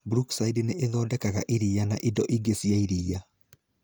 Brookside nĩ ĩthondekaga iria na indo ingĩ cia iria.